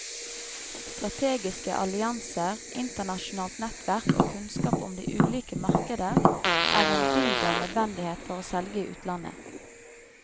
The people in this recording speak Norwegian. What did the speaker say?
Strategiske allianser, internasjonalt nettverk og kunnskap om de ulike markeder er en dyd av nødvendighet for å selge i utlandet.